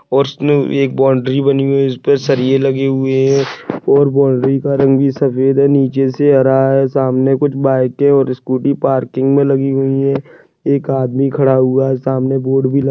और एक बाउंडरी बनी हुई है उसपे सलिये लगे हुये है और बाउंडरी का रंग भी सफेद है नीचेसे हरा है सामने कुछ बाइके और स्कूटी पार्किंग मे लगी हुई है एक आदमी खड़ा हुआ सामने बोर्ड भी लगा --